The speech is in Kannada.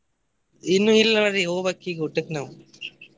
ಇನ್ನು ಇಲ್ಲ ನೋಡ್ರಿ ಹೋಗಬೇಕ್ ಈಗ ಊಟಕ್ ನಾವ್.